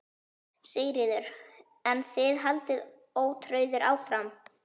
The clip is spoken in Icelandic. Sigríður: En þið haldið ótrauðir áfram?